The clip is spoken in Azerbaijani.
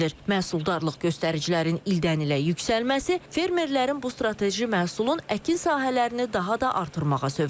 Məhsuldarlıq göstəricilərinin ildən-ilə yüksəlməsi fermerlərin bu strateji məhsulun əkin sahələrini daha da artırmağa zövq edib.